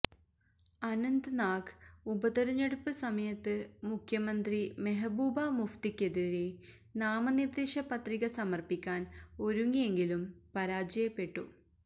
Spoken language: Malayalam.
അനന്ത് നാഗ് ഉപതെരഞ്ഞെടുപ്പ് സമയത്ത് മുഖ്യമന്ത്രി മെഹ്ബൂബ മുഫ്തിക്കെതിരെ നാമനിർദ്ദേശപത്രിക സമർപ്പിക്കാൻ ഒരുങ്ങിയെങ്കിലും പരാജയപ്പെട്ടു